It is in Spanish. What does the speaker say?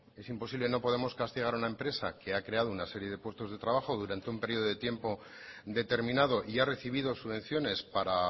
es imposible no podemos castigar a una empresa que ha creado una serie de puestos de trabajo durante un periodo de tiempo determinado y ha recibido subvenciones para